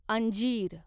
अंजीर